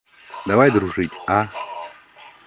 давай дружить а